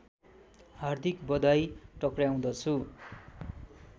हार्दिक बधाई टक्र्याउँदछु